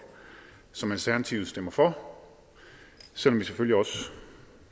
som alternativet stemmer for selv om vi selvfølgelig også